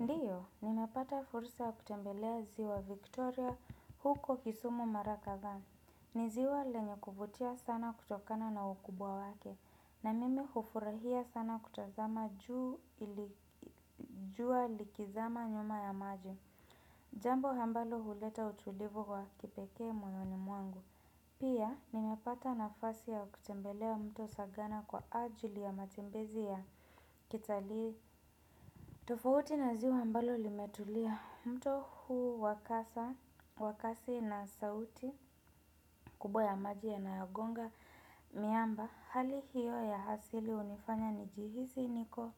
Ndiyo, nimepata fursa kutembelea ziwa Victoria huko kisumu mara kadhaa. Ni ziwa lenye kuvutia sana kutokana na ukubwa wake, na mimi hufurahia sana kutazama jua likizama nyuma ya maji. Jambo ambalo huleta utulivu wa kipekee moyoni mwangu. Pia, nimepata nafasi ya kutembelea mto sagana kwa ajili ya matembezi ya kitalii. Tofauti na ziwa ambalo limetulia mto huu wa kasi na sauti kubwa ya maji yanayogonga miamba. Hali hiyo ya asili hunifanya nijihisi niko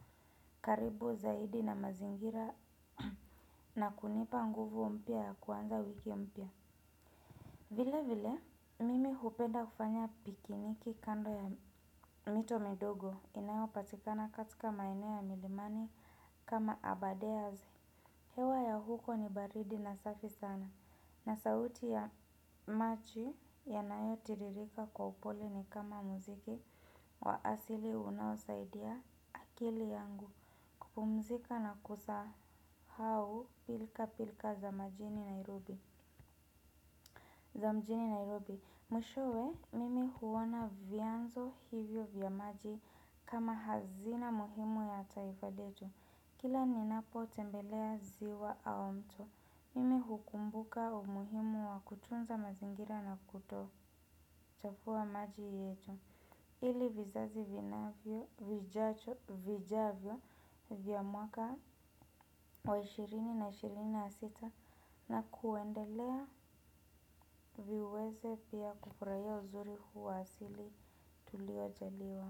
karibu zaidi na mazingira na kunipa nguvu mpya ya kuanza wiki mpya vilevile, mimi hupenda kufanya pikniki kando ya mito midogo inayopatikana katika maeneo ya milimani kama aberdares. Hewa ya huko ni baridi na safi sana. Na sauti ya maji yanayotiririka kwa upole ni kama muziki wa asili unaosaidia akili yangu kupumzika na kusahau pilkapilka za majini Nairobi. Za mjini Nairobi, mwishowe mimi huona vyanzo hivyo vya maji kama hazina muhimu ya taifa letu. Kila ninapotembelea ziwa au mto, mimi hukumbuka umuhimu wa kutunza mazingira na kutochafua maji yetu. Ili vizazi vijavyo vya mwaka wa elfu mbili na ishirini na sita na kuendelea viweze pia kufurahia uzuri huu wa asili tuliojaliwa.